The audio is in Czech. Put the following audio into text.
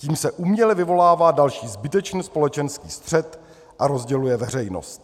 Tím se uměle vyvolává další zbytečný společenský střet a rozděluje veřejnost.